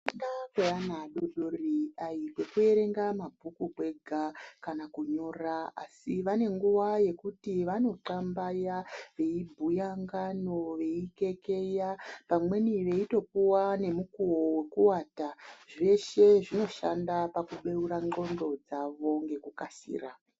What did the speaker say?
Kufunda kweana adodori dai kwekuerenga mabhuku kwega kana kunyora. Asi vane nguva yekuti vanotxambaya veibhuya ngano veikekeya vamweni veitopuva nemukuvo vekuvata. Zveshe zvinoshanda pakubeura ndxondo dzavo ngekukasira.